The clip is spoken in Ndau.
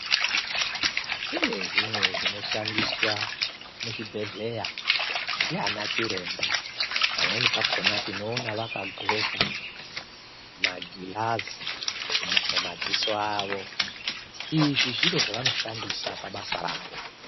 Kune zvimwe zvinoshandiswa muzvibhedhlera ndianachiremba. Pamweni pakhona tinoona vakadhloka magirazi mumadziso avo. Izvi zviro zvavanoshandisa pabasa ravo.